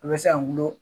A bɛ se ka wolo